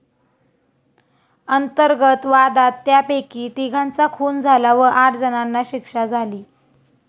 अंतर्गत वादात त्यापैकी तिघांचा खून झाला व आठ जणांना शिक्षा झाली.